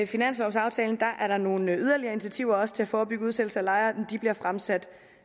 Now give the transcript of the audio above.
finanslovaftalen er der nogle yderligere initiativer til at forebygge udsættelse af lejere men de forslag bliver fremsat